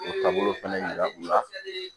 O taabolo fɛnɛ yira u la